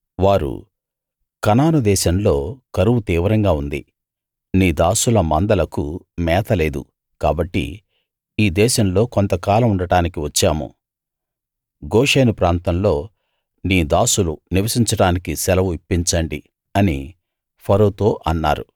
వారు కనాను దేశంలో కరువు తీవ్రంగా ఉంది నీ దాసుల మందలకు మేత లేదు కాబట్టి ఈ దేశంలో కొంత కాలముండడానికి వచ్చాము గోషెను ప్రాంతంలో నీ దాసులు నివసించడానికి సెలవు ఇప్పించండి అని ఫరోతో అన్నారు